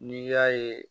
N'i y'a ye